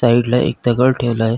Side ला एक दगड ठेवलाय.